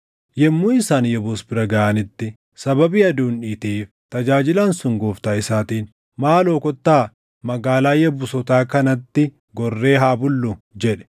Yommuu isaan Yebuus bira gaʼanitti sababii aduun dhiiteef tajaajilaan sun gooftaa isaatiin, “Maaloo kottaa magaalaa Yebuusotaa kanatti gorree haa bullu” jedhe.